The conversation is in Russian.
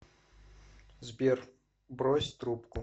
сбер брось трубку